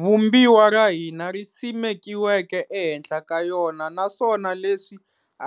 Vumbiwa ra hina ri simekiweke ehenhla ka yona naswona leswi